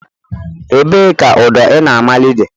Ebee ka ụdọ ị na-amali dị?